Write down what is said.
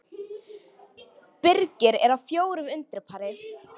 Birgir er á fjórum undir pari